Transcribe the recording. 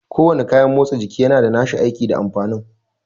Ko wane kayan motsa jiki yana da nashi aiki da amfani